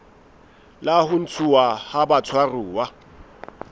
la ho ntshuwa ha batshwaruwa